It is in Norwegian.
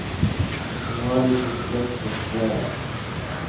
Nå har de fått lønn for strevet.